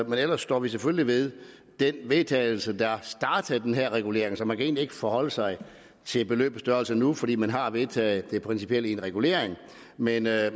men ellers står vi selvfølgelig ved den vedtagelse der startede den her regulering så man kan egentlig ikke forholde sig til beløbets størrelse nu for man har vedtaget det principielle i en regulering men jeg